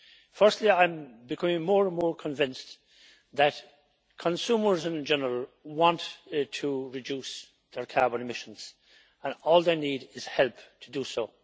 Firstly, I am becoming more and more convinced that consumers in general want to reduce their carbon emissions, and all they need is help to do so.